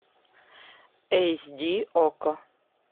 эйс ди окко